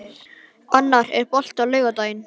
Annar, er bolti á laugardaginn?